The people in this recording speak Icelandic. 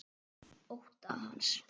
Ótta hans.